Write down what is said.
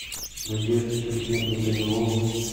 надежду сергеевну данилову